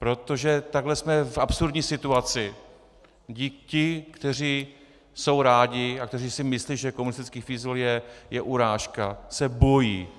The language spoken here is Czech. Protože takhle jsme v absurdní situaci, kdy ti, kteří jsou rádi a kteří si myslí, že komunistický fízl je urážka, se bojí.